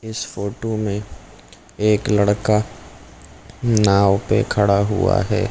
इस फोटो में एक लड़का नाव पे खड़ा हुआ है ।